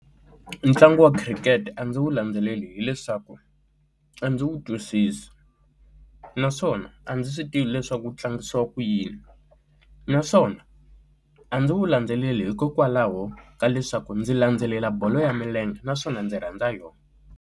Ntlangu wa khirikete a ndzi wu landzeleli hileswaku a ndzi wu twisisa naswona a ndzi swi tivi leswaku wu tlangisiwa ku yini, naswona a ndzi wu landzeleli hikokwalaho ka leswaku ndzi landzelela bolo ya milenge naswona ndzi rhandza yona.